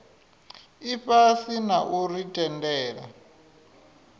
ifhasi na u ri tendela